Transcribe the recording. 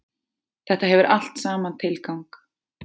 Þetta hefur allt saman tilgang.